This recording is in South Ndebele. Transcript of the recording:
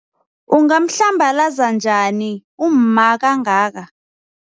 Ungamhlambalaza njani umma kangaka?